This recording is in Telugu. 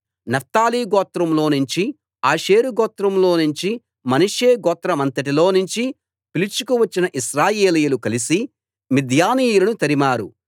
నఫ్తాలి గోత్రంలో నుంచి ఆషేరు గోత్రంలో నుంచి మనష్షే గోత్రమంతటిలో నుంచి పిలుచుకు వచ్చిన ఇశ్రాయేలీయులు కలిసి మిద్యానీయులను తరిమారు